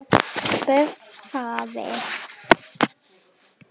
Björn þagði.